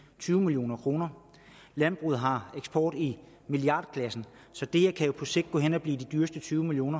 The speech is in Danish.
tyve million kroner landbruget har eksport i milliardklassen så det her kan jo på sigt gå hen og blive de dyreste tyve million